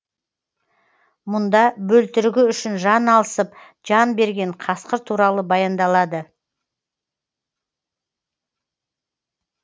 мұнда бөлтірігі үшін жан алысып жан берген қасқыр туралы баяндалады